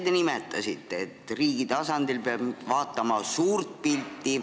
Ise te nimetasite, et riigi tasandil peab vaatama suurt pilti.